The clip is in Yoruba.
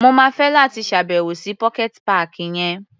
Mo máa fẹ́ láti ṣá̀bẹ̀wò sí pocket páàkì yẹn.